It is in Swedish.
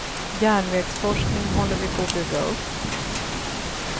Järnvägsforskningen håller vi på att bygga upp.